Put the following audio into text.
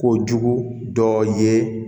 Kojugu dɔ ye